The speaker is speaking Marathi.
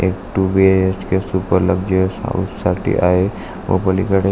एक two BHK. Super luxurious house साठी आहे व पलीकडे--